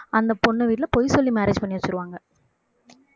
அந்த பொண்ணு வீட்டுல பொய் சொல்லி marriage பண்ணி வச்சிருவாங்க